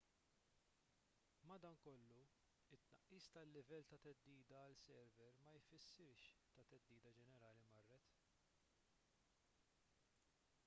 madankollu it-tnaqqis tal-livell ta' theddida għal sever ma jfissirx li t-theddida ġenerali marret